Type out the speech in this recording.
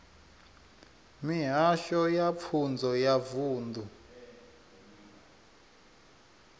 mihasho ya pfunzo ya vunḓu